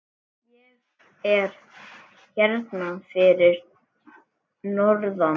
Ég er hérna fyrir norðan.